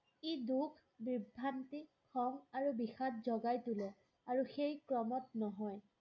ই দুখ বিভ্ৰান্তি খং আৰু বিষাদ জগায় তোলে আৰু শেষ ক্ৰমাৎ নহয়